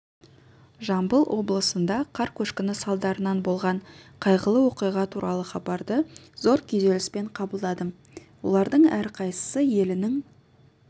жамбыл облысында қар көшкіні салдарынан болған қайғылы оқиға туралы хабарды зор күйзеліспен қабылдадым олардың әрқайсысы елінің